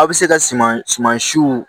A bɛ se ka suman suman siw